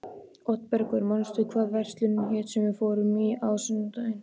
Oddbergur, manstu hvað verslunin hét sem við fórum í á sunnudaginn?